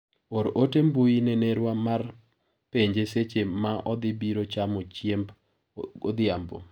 or ote mbui ne nerwa mar penje seche ma odhi biro chamo chiemb odhiambo.